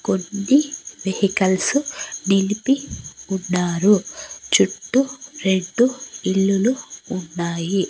కొన్ని వెహికల్సు నిలిపి ఉన్నారు చుట్టూ రెండు ఇల్లులు ఉన్నాయి.